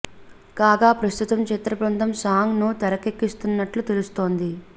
కాగా ప్రస్తుతం చిత్రబృందం సాంగ్ ను తెరకెక్కిస్తున్నట్లు తెలుస్తోంది